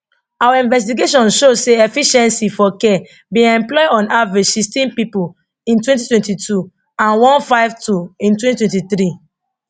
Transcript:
our investigation show say efficiency for care bin employ on average 16 pipo in 2022 and 152 in 2023